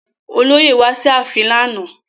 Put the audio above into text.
Olóyè wá sí ààfin lánàá